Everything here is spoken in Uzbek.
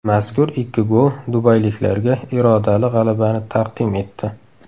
Mazkur ikki gol dubayliklarga irodali g‘alabani taqdim etdi.